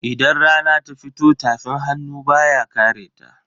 Idan rana ta fito tafin hannu baya kareta.